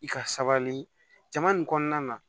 I ka sabali jama nin kɔnɔna na